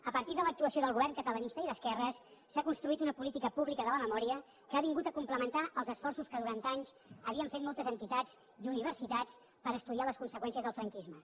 a partir de l’actuació del govern catalanista i d’esquerres s’ha construït una política pública de la memòria que ha vingut a complementar els esforços que durant anys havien fet moltes entitats i universitats per estudiar les conseqüències del franquisme